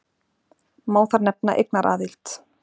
Má þar nefna eignaraðild.